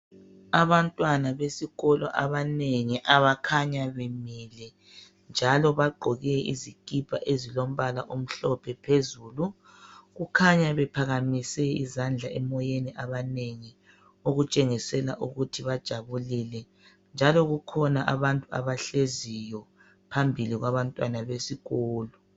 Abantwana besikolo abanengi abakhanya bemile njalo bagqoke izikipa ezilombala omhlophe phezulu. Kukhanya bephakamise izandla emoyeni abanengi okutshengisela ukuthi bajabulile njalo kukhona abantu abahleziyo phambili kwabantwana besikolo.